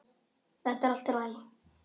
Þetta er allt í lagi.